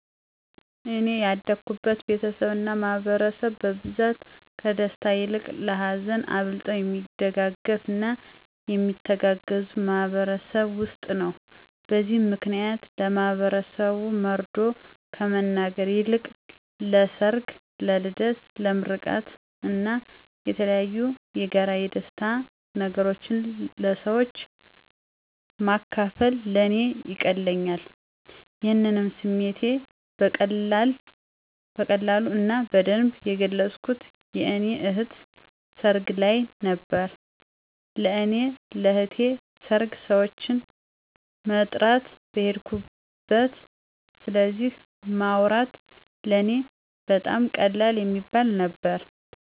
እኔ ያደኩበት ቤተሰብ እና ማህበረሰብ በብዛት ከደስታ ይልቅ ለሀዘን አብልጠው የሚደጋገፉ እና የሚተጋገዙ ማህበረሰብ ውስጥ ነው። በዚህ ምክንያት ለማህበረሰቡ መርዶ ከመናገር ይልቅ ለሰር፣ ለልደት፣ ለምርቃን እና የተለያዬ የጋራ የደስታ ነገሮችን ለሰወች ማካፈል ለእኔ ይቀለኛል። ይሄንም ስሜቴ በቀላሉ እና በደንብ የገለፅኩት የእኔ እህት ሰርግ ልይ ነበረ። ለእኔ ለእህቴን ሰርግ ሰወችን መጥራት በሄድኩበት ስለዚ ማውራት ለእኔ በጣም ቀላል የሚባል ነበረ።